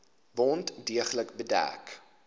wond deeglik bedek